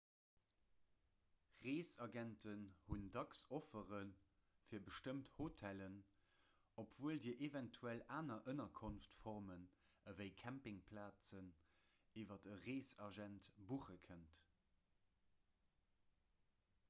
reesagenten hunn dacks offere fir bestëmmt hotellen obwuel dir eventuell aner ënnerkonftformen ewéi campingplazen iwwer e reesagent buche kënnt